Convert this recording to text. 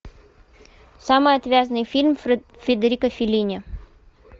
самый отвязный фильм федерико феллини